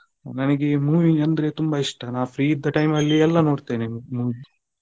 ನನಗೆ movie ಅಂದ್ರೆ ತುಂಬಾ ಇಷ್ಟ ನಾನು free ಇದ್ದ time ಅಲ್ಲಿ ಎಲ್ಲಾ ನೋಡ್ತೇನೆ movie .